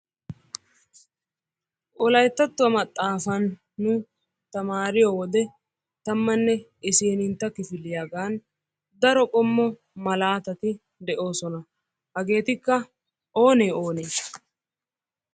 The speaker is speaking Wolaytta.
wolayttattuwa maxaaafan nu tamaariyo wode tammanne issinintta kifiliyagan daro qommo malaatati de'oosona. Hageetikka oonee oonee?